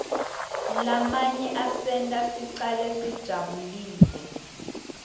lamanye asenta shcale disabulile